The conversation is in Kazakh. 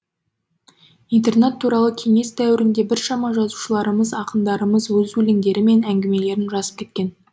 интернат туралы кеңес дәуірінде біршама жазушыларымыз ақындарымыз өз өлеңдері мен әңгімелерін жазып кеткен